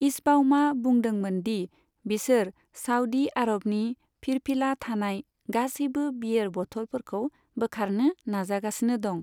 इचबाउमा बुंदोंमोन दि बिसोर साउदी आरबनि फिरफिला थानाय गासैबो बियेर बथलफोरखौ बोखारनो नाजागासिनो दं।